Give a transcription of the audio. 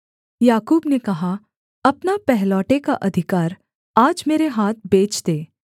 याकूब ने कहा अपना पहलौठे का अधिकार आज मेरे हाथ बेच दे